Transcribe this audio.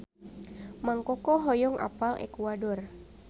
Mang Koko hoyong apal Ekuador